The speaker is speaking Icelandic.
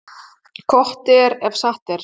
Gott er, ef satt er.